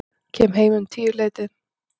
Kem heim um tíuleytið.